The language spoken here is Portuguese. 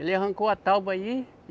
Ele arrancou a tábua aí.